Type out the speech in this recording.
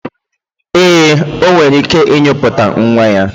Ee, o nwere ike inyipụta nwa ya.